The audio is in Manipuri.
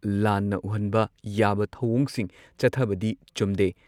ꯂꯥꯟꯅ ꯎꯍꯟꯕ ꯌꯥꯕ ꯊꯧꯑꯣꯡꯁꯤꯡ ꯆꯠꯊꯕꯗꯤ ꯆꯨꯝꯗꯦ